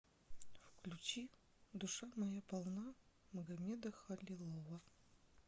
включи душа моя полна магамеда халилова